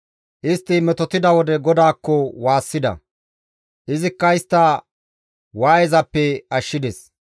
Istti metotida wode GODAAKKO waassida; izikka istta waayezappe ashshides.